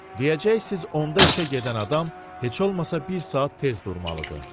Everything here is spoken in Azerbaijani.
Deyəcəksiniz 10-da işə gedən adam heç olmasa bir saat tez durmalıdır.